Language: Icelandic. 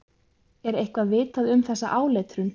Er eitthvað vitað um þessa áletrun?